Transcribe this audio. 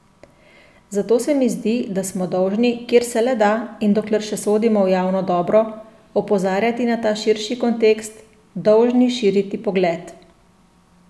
Zato se mi zdi, da smo dolžni, kjer se le da in dokler še sodimo v javno dobro, opozarjati na ta širši kontekst, dolžni širiti pogled.